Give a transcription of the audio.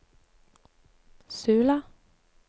Sula